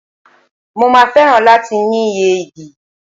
Mo máa fẹ́ràn láti ní ìyẹ́ ìdì.